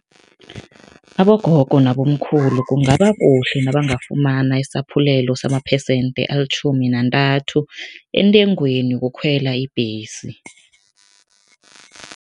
Abogogo nabomkhulu kungaba kuhle nabangafumana isaphulelo samaphesente alitjhumi nantathu entengweni yokukhwela ibhesi.